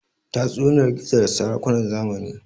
tatsuniyar gizo da sarakunan zamani